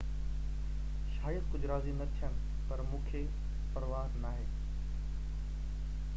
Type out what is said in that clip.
شايد ڪجهہ راضي نہ ٿين پر مونکي پرواه ناهي